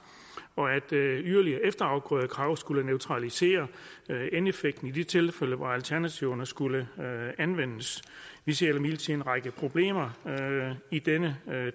og at yderligere efterafgrødekrav skulle neutralisere n effekten i de tilfælde hvor alternativerne skulle anvendes vi ser imidlertid en række problemer i denne